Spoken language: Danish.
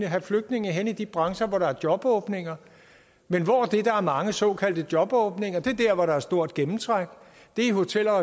have flygtninge hen i de brancher hvor der er jobåbninger men hvor er det der er mange såkaldte jobåbninger det er der hvor der er stort gennemtræk det er i hotel og